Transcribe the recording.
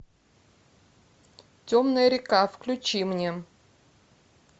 темная река включи мне